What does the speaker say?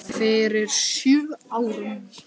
Fyrir sjö árum.